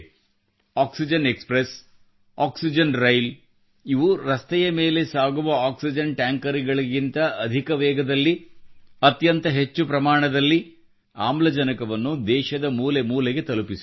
oxygen express oxygen rail ಇವು ರಸ್ತೆಯ ಮೇಲೆ ಸಾಗುವ ಆಕ್ಸಿಜನ್ ಟ್ಯಾಂಕರ್ ಗಳಿಗಿಂತ ಅಧಿಕ ವೇಗದಲ್ಲಿ ಅತ್ಯಂತ ಹೆಚ್ಚು ಪ್ರಮಾಣದಲ್ಲಿ ಆಮ್ಲಜನಕವನ್ನು ದೇಶದ ಮೂಲೆ ಮೂಲೆಗೆ ತಲುಪಿಸಿದೆ